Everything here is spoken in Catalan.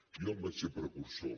jo en vaig ser precursor